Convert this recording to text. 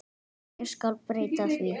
En ég skal breyta því.